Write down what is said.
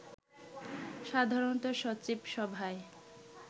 সাধারণত সচিব সভায়